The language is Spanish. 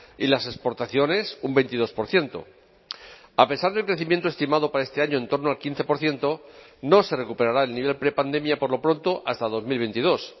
y las exportaciones un veintidós por ciento a pesar del crecimiento estimado para este año en torno al quince por ciento no se recuperará el nivel prepandemia por lo pronto hasta dos mil veintidós